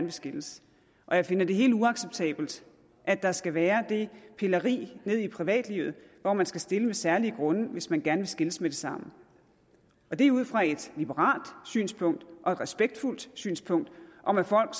vil skilles og jeg finder det helt uacceptabelt at der skal være det pilleri i privatlivet hvor man skal stille med særlige grunde hvis man gerne vil skilles med det samme det er ud fra et liberalt synspunkt og et respektfuldt synspunkt om at folk